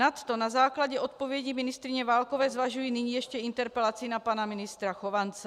Nadto na základě odpovědi ministryně Válkové zvažuji nyní ještě interpelaci na pana ministra Chovance.